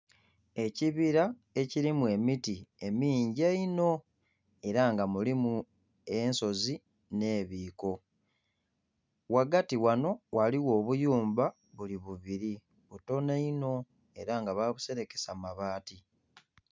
Ekibira ekirimu emiti emingi einho era nga mulimu ensozi ne'bikoo, ghagati ghano ghaligho obuyumba buli bubiri butono inho era nga babuserekesa mabati.